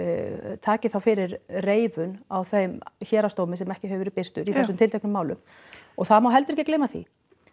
taki þá fyrir reifun á þeim héraðsdómi sem ekki hefur verið birtur í þessum tilteknu málum og það má heldur ekki gleyma því